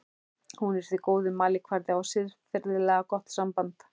Hún er því góður mælikvarði á siðferðilega gott samband.